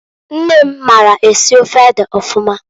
Nne m maara esi ofe ede ọfụma.